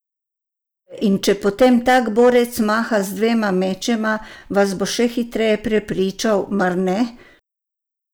In če potem tak borec maha z dvema mečema, vas bo še hitreje prepričal, mar ne?